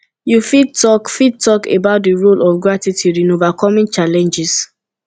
you fit talk fit talk about di role of gratitude in overcoming challenges